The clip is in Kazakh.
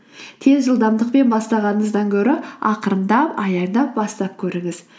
тез жылдамдықпен бастағаныңыздан гөрі ақырындап аяндап бастап көріңіз